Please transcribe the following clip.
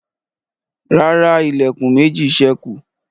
ràrá Ilẹ̀kùn méjì sẹku.